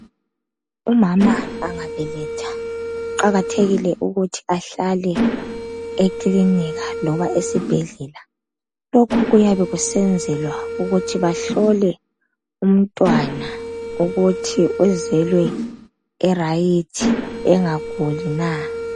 Umama angabeletha kuqakathekile ukuthi ahlale ekilinika loba esibhedlela lokhu kuyabe kusenzelwa ukuthi bahlolwe umntwana ukuthi uzelwe engaguli na